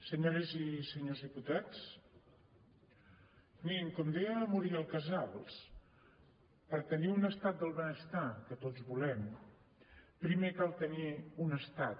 senyores i senyors diputats mirin com deia la muriel casals per tenir un estat del benestar que tots volem primer cal tenir un estat